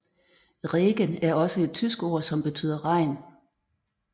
Regen er også et tysk ord som betyder regn